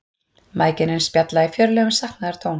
Mæðginin spjalla í fjörlegum saknaðartón.